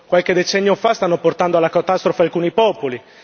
qualche decennio fa, stanno portando alla catastrofe alcuni popoli.